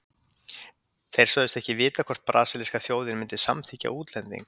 Þeir sögðust ekki vita hvort brasilíska þjóðin myndi samþykkja útlending.